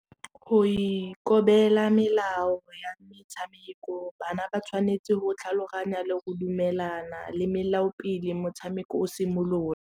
Go ikobela melao ya metshameko bana ba tshwanetse go tlhaloganya le go dumelana le melao pele motshameko o simolola.